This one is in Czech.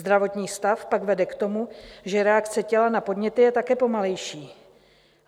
Zdravotní stav pak vede k tomu, že reakce těla na podněty je také pomalejší.